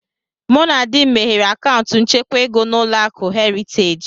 Mụ na di m meghere akaụntụ nchekwa ego na Ụlọakụ Heritage